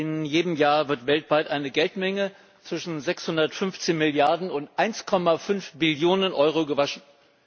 In jedem Jahr wird weltweit eine Geldmenge zwischen 615 Milliarden und 1,5 Billionen Euro gewaschen.